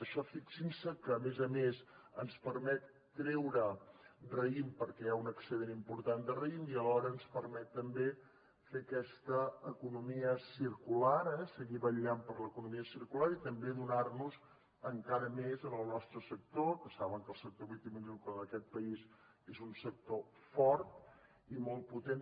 això fixin se que a més a més ens permet treure raïm perquè hi ha un excedent important de raïm i alhora ens permet també fer aquesta economia circular eh seguir vetllant per l’economia circular i també donar nos encara més al nostre sector que saben que el sector vitivinícola en aquest país és un sector fort i molt potent